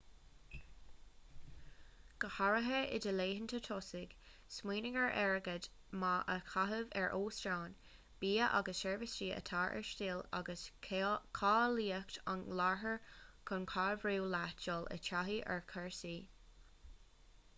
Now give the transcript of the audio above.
go háirithe i do laethanta tosaigh smaoinigh ar airgead maith a chaitheamh ar óstáin bia agus seirbhísí atá ar stíl agus cáilíocht an iarthair chun cabhrú leat dul i dtaithí ar chúrsaí